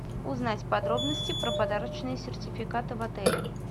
узнать подробности про подарочные сертификаты в отеле